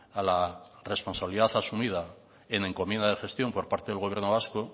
a la responsabilidad asumida en encomienda de gestión por parte del gobierno vasco